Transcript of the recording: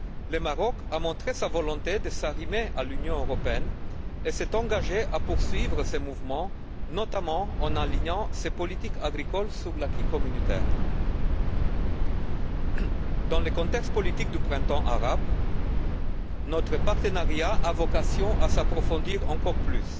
Le Maroc a montré sa volonté de s'arrimer à l'Union européenne et s'est engagé à poursuivre ce mouvement, notamment en alignant ses politiques agricoles sur l'acquis communautaire. Dans le contexte politique du printemps arabe, notre partenariat a vocation à s'approfondir encore plus